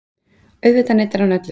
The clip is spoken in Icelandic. Auðvitað neitar hann öllu.